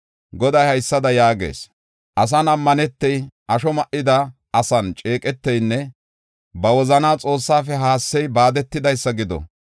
Goday haysada yaagees: “Asan ammanetey, asho ma7ida asan ceeqeteynne ba wozanaa Xoossafe haassey baadetidaysa gido.